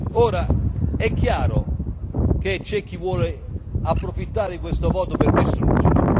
Ora è chiaro, che c'è chi vuole approfittare di questo voto per distruggere.